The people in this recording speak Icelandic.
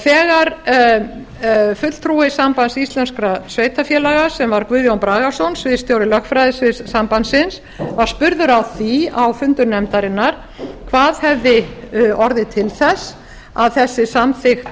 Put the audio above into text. þegar fulltrúi sambands íslenskra sveitarfélaga sem var guðjón bragason sviðsstjóri lögfræðisviðs sambandsins var spurður að því á fundum nefndarinnar hvað hefði orðið til þess að þessi samþykkt